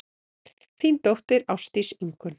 Þín dóttir, Ásdís Ingunn.